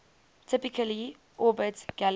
typically orbit galaxies